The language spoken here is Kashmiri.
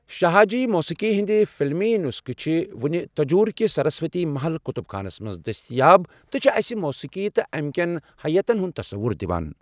شاہا جی موسیقی ہندِ قلمی نسخہٕ چھِ وٕنہِ تنجوُركِس سرسوتی محل كتب خانس منز دستیاب تہٕ چھِ اسہٕ موسیٖقی تہٕ امہ کٮ۪ن حیتن ہنٛد تصوٗر دِوان ۔